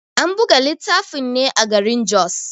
An buga littafin ne a garin Jos.